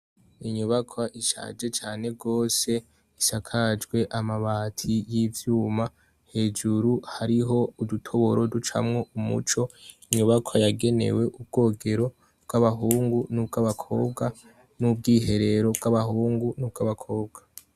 Inyobakwa ishaje cane gose, ishakajwe amabati y'ivyuma. Hejuru hariho udutoboro ducamwo umuco. Inyubakwa yagenewe ubwogero bw'abahungu n'ubwabakobwa n'ubwiherero bw'abahungu n'ubw abakobwa.